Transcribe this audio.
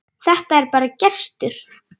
Þetta er bara gestur.